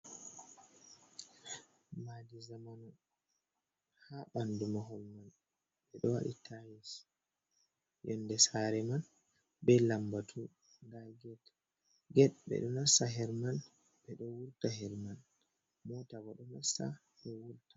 Madi zaman ha ɓandu mahol mai ɓe ɗo waɗi tais, yonde saare man be lambatu, nda get, get ɓe ɗo nastira her man, ɓe ɗo wurta her man, mota bo ɗo nasta ɗo wurta.